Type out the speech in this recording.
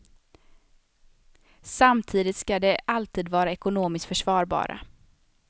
Samtidigt ska de alltid vara ekonomiskt försvarbara.